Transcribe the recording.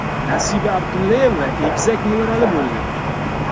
Nasiba Abdullayeva egizak nevarali bo‘ldi.